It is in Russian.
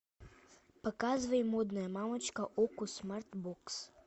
показывай модная мамочка окко смарт бокс